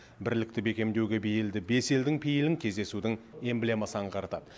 бірлікті бекемдеуге бейілді бес елдің пейілін кездесудің эмблемасы аңғартады